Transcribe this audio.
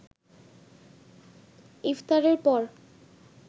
ইফতারের পর